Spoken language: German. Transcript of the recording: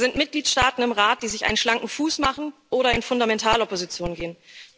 Da sind Mitgliedstaaten im Rat, die sich einen schlanken Fuß machen oder in Fundamentalopposition gehen.